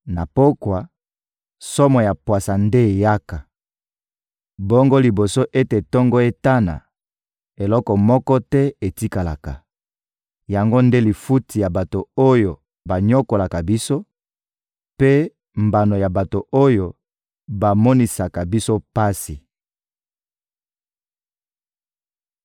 Na pokwa, somo ya pwasa nde eyaka! Bongo liboso ete tongo etana, eloko moko te etikalaka! Yango nde lifuti ya bato oyo banyokolaka biso, mpe mbano ya bato oyo bamonisaka biso pasi.